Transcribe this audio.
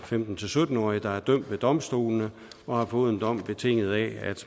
femten til sytten årige der er dømt ved domstolene og har fået en dom betinget af